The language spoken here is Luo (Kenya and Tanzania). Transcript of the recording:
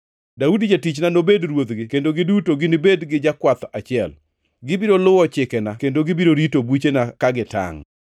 “ ‘Daudi jatichna nobed ruodhgi kendo giduto ginibed gi jakwath achiel. Gibiro luwo chikena kendo gibiro rito buchena ka gitangʼ.